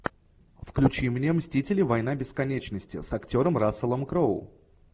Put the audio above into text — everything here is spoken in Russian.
включи мне мстители война бесконечности с актером расселом кроу